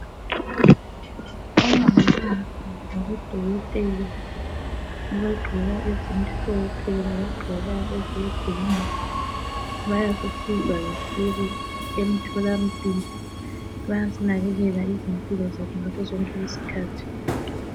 Laba ngodokotela abagqoke impahla zomsebenzi ezitshiyeneyo, ngabagqoka bhulu, abanye ngezimhlophe bayasisiza ekutholeni umtholampilo.